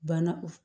Banna o